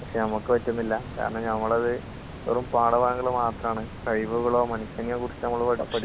പക്ഷേ നമുക്ക് പറ്റുന്നില്ലാ..കാരണം നമ്മളത് വെറും പാഠഭാഗങ്ങള് മാത്രാണ്, കഴിവുകളോ മനുഷ്യനെയോ കുറിച്ച് നമ്മൾ പഠിക്കുന്നില്ല, പഠിപ്പിക്കുന്നുമില്ല.